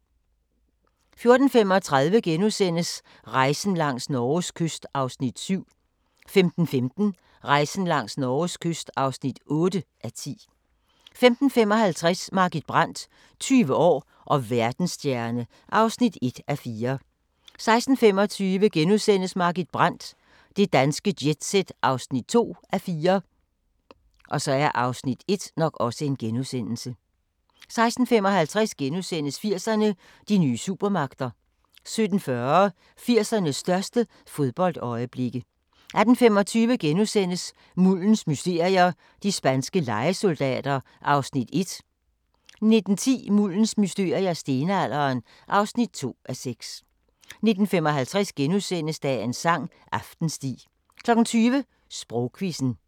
14:35: Rejsen langs Norges kyst (7:10)* 15:15: Rejsen langs Norges kyst (8:10) 15:55: Margit Brandt – 20 år og verdensstjerne (1:4) 16:25: Margit Brandt – Det danske jet-set (2:4)* 16:55: 80'erne: De nye supermagter * 17:40: 80'ernes største fodboldøjeblikke 18:25: Muldens mysterier - de spanske lejesoldater (1:6)* 19:10: Muldens mysterier – Stenalderen (2:6) 19:55: Dagens sang: Aftensti * 20:00: Sprogquizzen